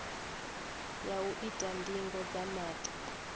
ya u ita ndingo dza maṱo